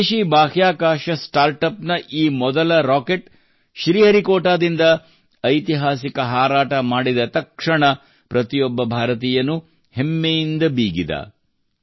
ಸ್ವದೇಶಿ ಬಾಹ್ಯಾಕಾಶ start up ನ ಈ ಮೊದಲ ರಾಕೆಟ್ ಶ್ರೀಹರಿಕೋಟಾದಿಂದ ಐತಿಹಾಸಿಕ ಹಾರಾಟವನ್ನು ಮಾಡಿದ ತಕ್ಷಣ ಪ್ರತಿಯೊಬ್ಬ ಭಾರತೀಯನೂ ಹೆಮ್ಮೆಯಿಂದ ಬೀಗಿದನು